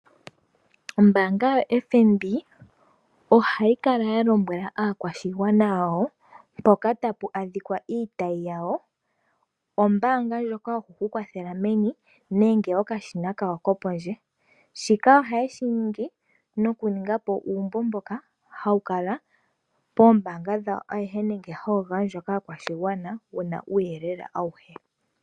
Ombaanga yoFNB ohayi kala yalombwela aakwashigwana yawo mpoka tapu adhikwa iitayi yawo . Ombaanga ndjoka yokukukwathela meni nenge okashina kawo kopondje, shika ohaye shi ningi nokuningapo uumbo mboka hawu kala poombaanga dhawo nenge hawu gandjwa kaakwashigwana, wuna uuyelele auhe.